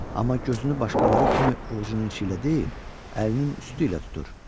Amma gözünü başqaları kimi ovcunun içi ilə deyil, əlinin üstü ilə tutur.